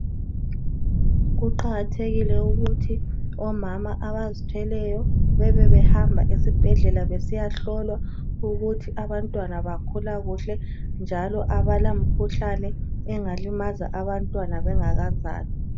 kuqakathekile ukuthi omama abazithweleyo bebebehamba esibhedlela besiya hlolwa ukuthi abantwana bakhula kuhle njalo abala mkhuhlane engalimaza abantwana bengakazalwa